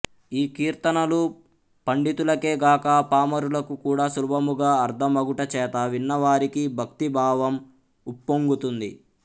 ఈ కీర్తనలు పండితులకే గాక పామరులకు కూడా సులభముగా అర్ధమగుటచేత విన్నవారికి భక్తిభావము ఉప్పొంగుతుంది